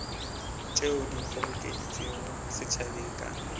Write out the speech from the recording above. tšeo di kgobokeditšwego setšhabeng ka